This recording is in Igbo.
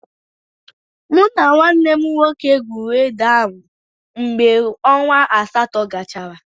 Mụ na nwanne m nwoke gwuuru ede ahụ mgbe ọnwa asatọ gachara.